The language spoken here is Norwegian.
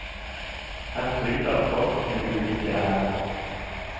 Her kryr det av folk med ulike ærend.